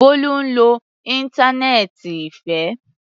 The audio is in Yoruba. Bólú ń lo íńtánẹ́ẹ́ǹtì Ìfẹ́.